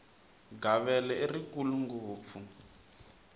gavele i rikulu ngopfu